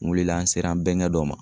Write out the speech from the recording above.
N wulila, n sera n bɛnkɛ dɔ ma.